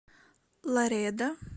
ларедо